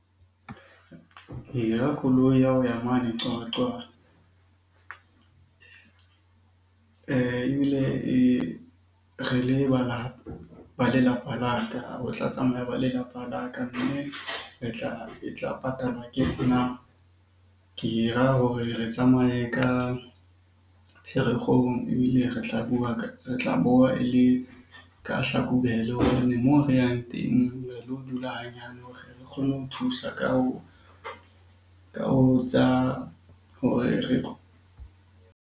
Ke hira koloi ya ho ya mane Qwaqwa ebile e re ba lelapa la ka, ho tla tsamaya ba lelapa la ka. Mme e tla patalwa ke nna. Ke e hira hore re tsamaye ka Pherekgong, ebile re tla e le ka Hlakubele. Hobane moo re yang teng re lo dula hanyane hore re kgone ho thusa ka ho tsa hore re .